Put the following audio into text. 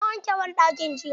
Na wanke banɗakin jiya.